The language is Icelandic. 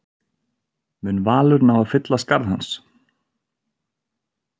Mun Valur ná að fylla skarð hans?